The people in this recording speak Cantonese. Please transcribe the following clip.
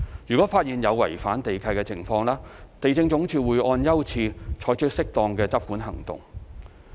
如發現有違反地契的情況，地政總署會按優次，採取適當的執管行動。